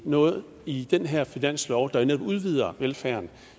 noget i den her finanslov der jo netop udvider velfærden